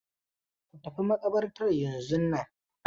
Ku tafi makabartar yanzun nan.